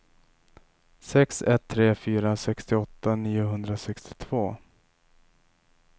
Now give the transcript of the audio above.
sex ett tre fyra sextioåtta niohundrasextiotvå